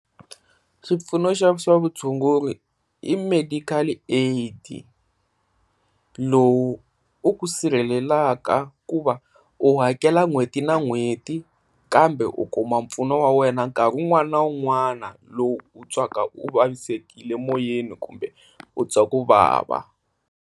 Swipfuno swa swa vutshunguri i medical aid lowu u ku sirhelelaka ku va u hakela n'hweti na n'hweti kambe u kuma mpfuno wa wena nkarhi n'wana na u n'wana lowu twaka u vavisekile emoyeni kumbe u twa ku vava.